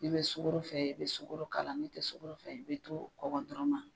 N'i bɛ sukoro fɛ i bɛ sukoro k'a la n'i tɛ sokoro fɛ i bɛ to kɔgɔ dɔrɔn ma.